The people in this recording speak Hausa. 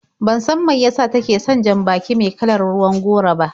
Ban san mai yasa take son jan-baki me kalar ruwan goro ba.